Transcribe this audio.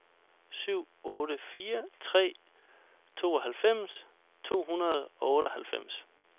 syv otte fire tre tooghalvfems to hundrede og otteoghalvfems